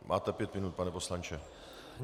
Máte pět minut, pane poslanče.